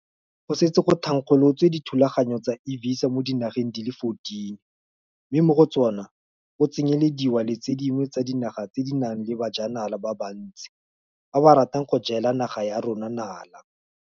Go setse go thankgolotswe dithulaganyo tsa e-Visa mo dinageng di le 14, mme mo go tsona go tsenyelediwa le tse dingwe tsa dinaga tse di nang le bajanala ba bantsi ba ba ratang go jela naga ya rona nala.